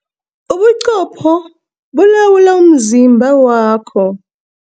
Ubuqopho bulawula umzimba wakho.